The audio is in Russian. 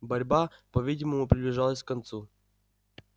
борьба по видимому приближалась к концу